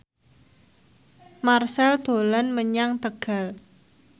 Marchell dolan menyang Tegal